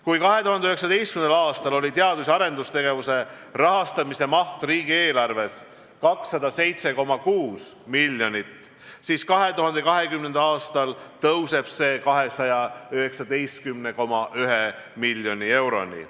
Kui 2019. aastal oli teadus- ja arendustegevuse rahastamise maht riigieelarves 207,6 miljonit, siis 2020. aastal tõuseb see 219,1 miljoni euroni.